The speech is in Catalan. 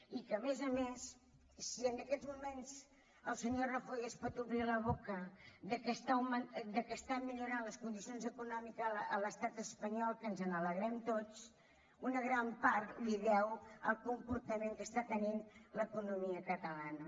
i a més a més si en aquests moments el senyor rajoy es pot omplir la boca que estan millorant les condicions econòmiques a l’estat espanyol que ens n’alegrem tots una gran part la deu al comportament que està tenint l’economia catalana